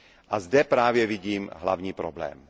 A zde právě vidím hlavní problém.